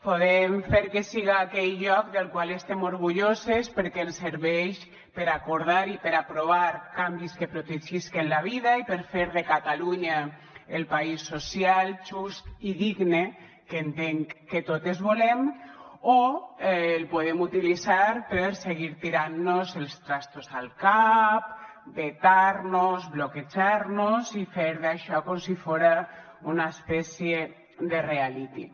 podem fer que siga aquell lloc del qual estem orgulloses perquè ens serveix per acordar i per aprovar canvis que protegisquen la vida i per fer de catalunya el país social just i digne que entenc que totes volem o el podem utilitzar per seguir tirant nos els trastos al cap vetar nos bloquejar nos i fer d’això com si fóra una espècie de reality